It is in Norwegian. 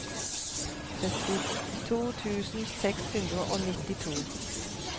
syttito tusen seks hundre og nittito